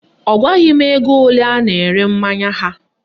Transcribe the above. Ọ gwaghị m ego ole a na-ere mmanya ha